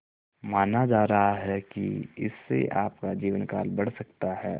माना जा रहा है कि इससे आपका जीवनकाल बढ़ सकता है